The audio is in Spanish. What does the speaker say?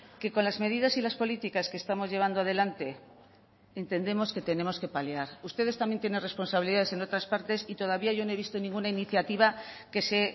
que con las medidas y las políticas que estamos llevando adelante entendemos que tenemos que paliar ustedes también tienen responsabilidades en otras partes y todavía yo no he visto ninguna iniciativa que se